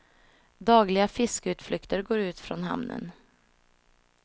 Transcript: Dagliga fiskeutflykter går ut från hamnen.